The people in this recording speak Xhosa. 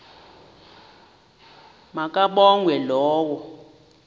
ma kabongwe low